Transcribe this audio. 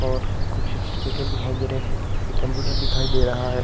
और कुछ सटिफिकेटे दिखाए दे रहें हैं एक कंप्यूटर दिखाई दे रहा है।